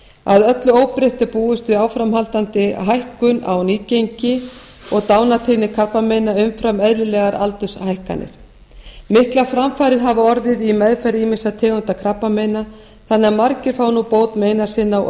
að öllu óbreyttu er búist við að áframhaldandi hækkun á nýgengi og dánartíðni krabbameina umfram eðlilegar aldurshækkanir miklar framfarir hafa orðið í meðferð ýmissa tegunda krabbameina þannig að margir fá nú bót meina sinna og